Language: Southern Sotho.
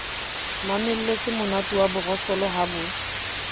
mamelletsemonate wa borosolo ha bo